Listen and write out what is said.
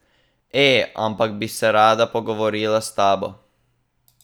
E, ampak bi se rada pogovorila s tabo.